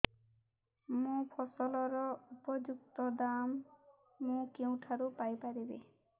ମୋ ଫସଲର ଉପଯୁକ୍ତ ଦାମ୍ ମୁଁ କେଉଁଠାରୁ ପାଇ ପାରିବି